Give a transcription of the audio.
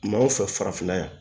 Maaw fɛ farafinna yan